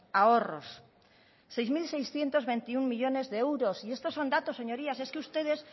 ahorros seis mil seiscientos veintiuno millónes de euros y estos son datos señorías y es que ustedes